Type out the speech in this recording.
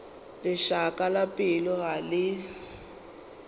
lešaka la pelo ga le